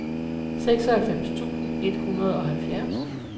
seksoghalvfems tusind et hundrede og halvfjerds